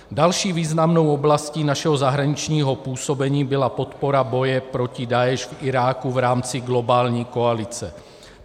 Další významnou oblastí našeho zahraničního působení byla podpora boje proti Daeš v Iráku v rámci globální koalice.